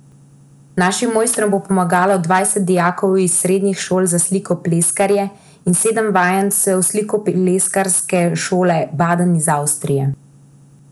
Našim mojstrom bo pomagalo dvanajst dijakov iz srednjih šol za slikopleskarje in sedem vajencev slikopleskarske šole Baden iz Avstrije.